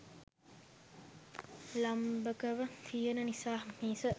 ලම්භකව තියෙන නිසා මිස